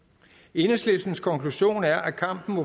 enhedslistens konklusion er at kampen